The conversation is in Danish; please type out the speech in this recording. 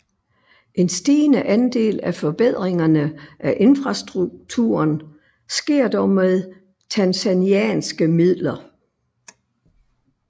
En stigende andel af forbedringerne af infrastrukturen sker dog med tanzanianske midler